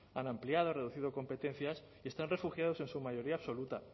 han ampliado han reducido competencias y están refugiados en su mayoría absoluta